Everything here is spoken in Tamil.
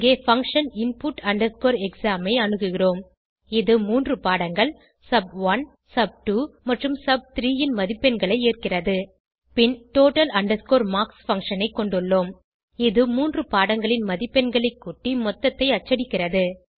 இங்கே பங்ஷன் input exam ஐ அணுகுகிறோம் இது மூன்று பாடங்கள் சப்1 சப்2 மற்றும் சப்3 ன் மதிப்பெண்களை ஏற்கிறது பின் total marks பங்ஷன் ஐ கொண்டுள்ளோம் இது மூன்று பாடங்களின் மதிப்பெண்களைக் கூட்டி மொத்தத்தை அச்சடிக்கிறது